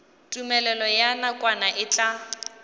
tumelelo ya nakwana e tla